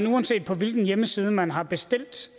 uanset på hvilken hjemmeside man har bestilt